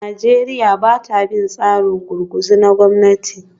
Najeriya ba ta bin tsarin gurguzu na gwamnati